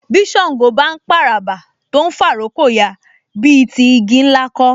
Bí Ṣàngó bá ń p'àràbà tó ń fà'rókò ya, bí i ti igi ńlá kọ́